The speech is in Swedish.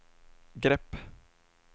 grepp